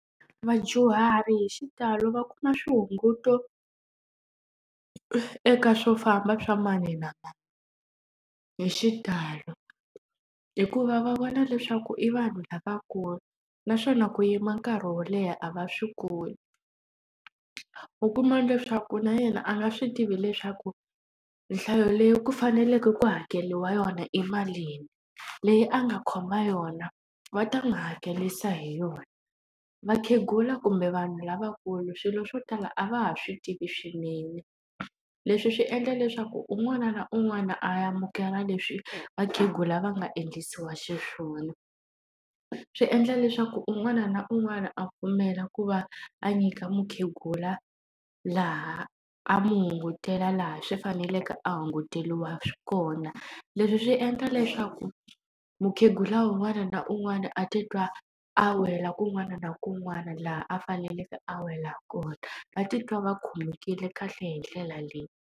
Vadyuhari hi xitalo va kuma swihunguto eka swofamba swa mani na mani, hi xitalo. Hikuva va vona leswaku i vanhu lavankulu, naswona ku yima nkarhi wo leha a va swi koti. U kuma leswaku na yena a nga swi tivi leswaku nhlayo leyi ku faneleke ku hakeriwa yona i malini, leyi a nga khoma yona va ta n'wi hakerisa hi yona. Vakhegula kumbe vanhu lavankulu swilo swo tala a va ha swi tivi swinene, leswi swi endla leswaku un'wana na un'wana amukela leswi vakhegula va nga endlisiwa xiswona. Swi endla leswaku un'wana na un'wana a pfumela ku va a nyika mukhegula laha a n'wi hungutela laha swi faneleke a hunguteriwa kona. Leswi swi endla leswaku mukhegula un'wana na un'wana a titwa a wela kun'wana na kun'wana laha a faneleke a wela kona, va titwa va khomekile kahle hi ndlela leyi.